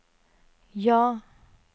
ja